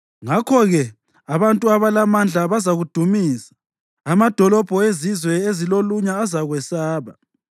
Ngakho-ke abantu abalamandla bazakudumisa, amadolobho ezizwe ezilolunya azakwesaba.